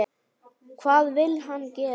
Hvað vill hann gera?